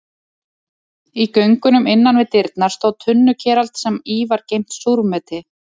Í göngunum innan við dyrnar stóð tunnukerald sem í var geymt súrmeti.